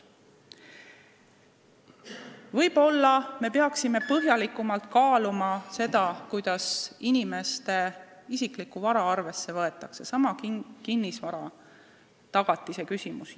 Võib-olla me peaksime põhjalikumalt kaaluma, kuidas isiklikku vara arvesse võtta, see on seesama kinnisvaratagatise küsimus.